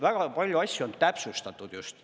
Väga palju asju on täpsustatud just.